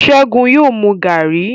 Segun yóò mú garri.